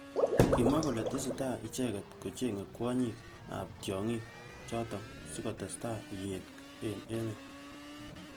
Kimwa kole tesetai icheket kochengei kwonyik.ab tyongik. chotok sikotestai iyet eng emet.